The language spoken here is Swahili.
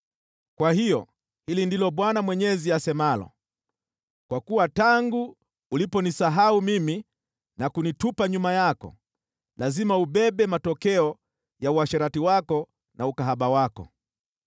“Kwa hiyo hili ndilo Bwana Mwenyezi asemalo: Kwa kuwa tangu uliponisahau mimi na kunitupa nyuma yako, lazima ubebe matokeo ya uasherati wako na ukahaba wako.”